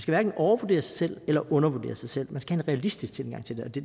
hverken overvurdere sig selv eller undervurdere sig selv man skal have en realistisk tilgang til det det